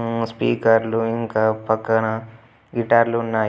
ఉమ్ speaker లు ఇంకా పక్క గిటార్లున్నాయి.